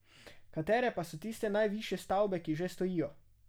Katere pa so tiste najvišje stavbe, ki že stojijo?